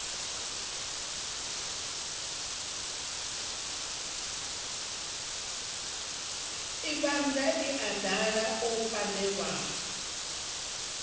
ibannda ii idala o penndelwa